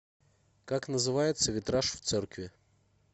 как называется витраж в церкви